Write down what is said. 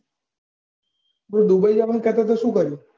તું dubai જવાનું કે તો તો શું કર્યું?